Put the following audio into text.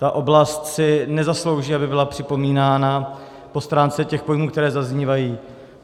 Ta oblast si nezaslouží, aby byla připomínána po stránce těch pojmů, které zaznívají.